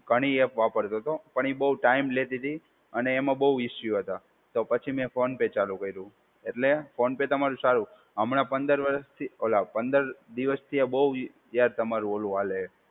ઘણી એપ વાપરતો હતો. પણ એ બહુ ટાઈમ લેતી હતી અને એમાં બહુ ઇશ્યૂ હતા. તો પછી મેં ફોન પે ચાલુ કર્યું. એટલે ફોન પે તમારો સારું. હમણાં પંદર વર્ષથી ઓલા પંદર દિવસથી આ બહુ યાર તમારું ઓલું હાલે.